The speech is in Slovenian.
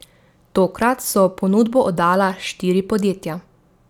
Tokrat so ponudbo oddala štiri podjetja.